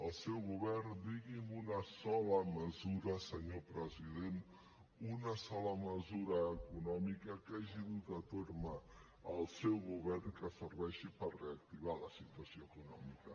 el seu govern digui’m una sola mesura senyor president una sola mesura econòmica que hagi dut a terme el seu govern que serveixi per reactivar la situació econòmica